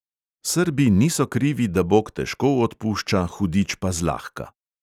Srbi niso krivi, da bog težko odpušča, hudič pa zlahka.